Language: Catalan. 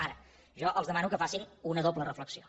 ara jo els demano que facin una doble reflexió